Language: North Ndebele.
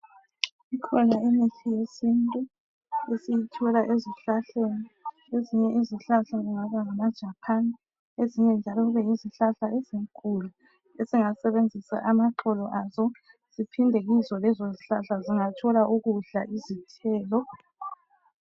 Kukhona umuthi wesintu esiwuthola ezihlahleni ezinye izihlahla kungaba ngamajaphani ezinye njalo kube yizihlahla ezinkulu sesingasebenzisa amaxolo aso siphinde kizo lezo zihlahla singathola ukudla izithelo.